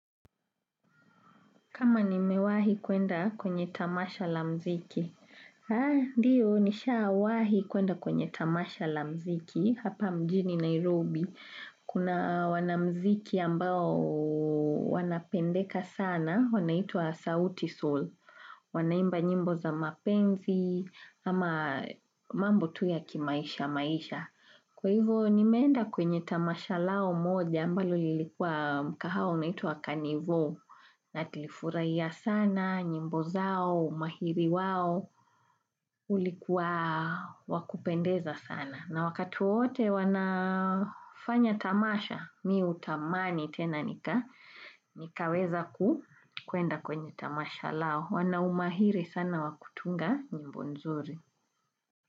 Kama nimewahi kuenda kwenye tamasha la mziki. Haa, ndiyo nishawahi kuenda kwenye tamasha la mziki, hapa mjini Nairobi. Kuna wanamziki ambao wanapendeka sana, wanaitwa sauti sol. Wanaimba nyimbo za mapenzi, ama mambo tu ya kimaisha maisha. Kwa hivo nimeenda kwenye tamasha lao moja ambalo lilikuwa mkahawa unaituwa kanivo na tilifurahia sana, nyimbo zao, umahiri wao, ulikuwa wakupendeza sana. Na wakati wowote wanafanya tamasha, mi hutamani tena nikaweza kuenda kwenye tamasha lao. Wanaumahiri sana wa kutunga nyimbo nzuri.